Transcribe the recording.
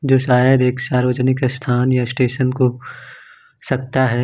जो शायद एक सार्वजनिक स्थान या स्टेशन को सकता है।